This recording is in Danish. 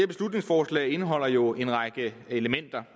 beslutningsforslag indeholder jo en række elementer